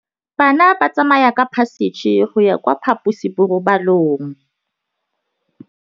Bana ba tsamaya ka phašitshe go ya kwa phaposiborobalong.